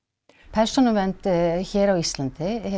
persónuvernd hér á Íslandi